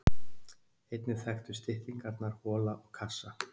Einnig þekktust styttingarnar hola og kassa.